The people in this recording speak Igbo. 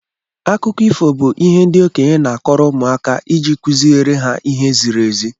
Akụkọ ifo bu ihe ndị okenye na-akọrọ ụmụaka iji kuziri ha ihe ziri ezi.